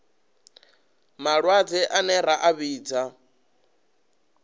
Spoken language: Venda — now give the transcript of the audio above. malwadze ane ra a vhidza